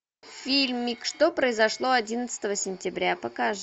фильмик что произошло одиннадцатого сентября покажи